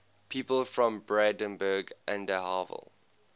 people from brandenburg an der havel